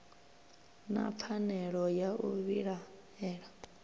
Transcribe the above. na pfanelo ya u vhilaela